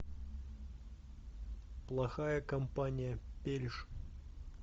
плохая компания пельш